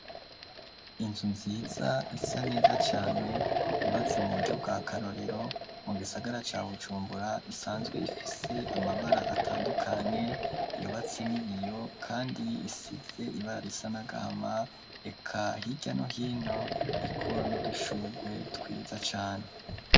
Inzu nziza isa neza cane yubatse mu buryo bwa karorero mu gisagara ca bujumbura isanzwe ifise amabara atandukanye iyobatse n'ibiyo, kandi isize ibara risa n'agahama eka hirya nohino iko nudushurwe twiza cane.